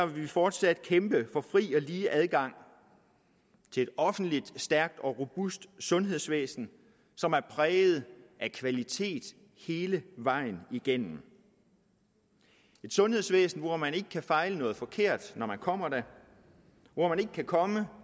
vi fortsat kæmpe for fri og lige adgang til et offentligt stærkt og robust sundhedsvæsen som er præget af kvalitet hele vejen igennem et sundhedsvæsen hvor man ikke kan fejle noget forkert når man kommer der hvor man ikke kan komme